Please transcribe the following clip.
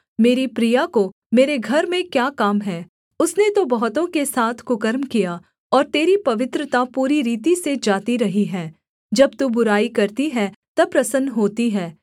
मेरी प्रिया को मेरे घर में क्या काम है उसने तो बहुतों के साथ कुकर्म किया और तेरी पवित्रता पूरी रीति से जाती रही है जब तू बुराई करती है तब प्रसन्न होती है